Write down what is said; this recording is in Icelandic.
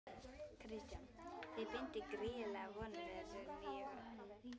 Kristján: Þið bindið gríðarlegar vonir við þessa nýju höfn?